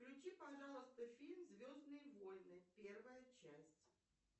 включи пожалуйста фильм звездные войны первая часть